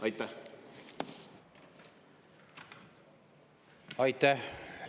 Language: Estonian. Aitäh!